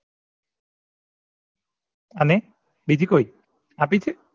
અને બીજી કોઈ આપી છે